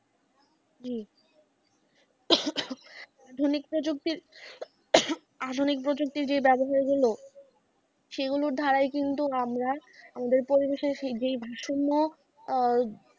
জি আধুনিক প্রজুক্তির আধুনিক প্রযুক্তির যে ব্যবহার গুলো সেই গুলোর ধারাই কিন্তু আমারা আমাদের পরিবেষের যেই ভারসম্য আহ